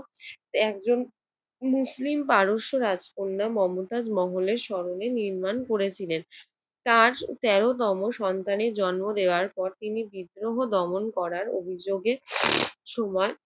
একজন মুসলিম পারস্য রাজকন্যা আর মমতাজ মহলের স্মরণে নির্মাণ করেছিলেন। তার তেরোতম সন্তানের জন্ম দেওয়ার পর তিনি বিদ্রোহ দমন করার অভিযোগের সময়